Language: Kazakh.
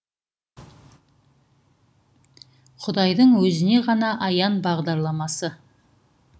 құдайдың өзіне ғана аян бағдарламасы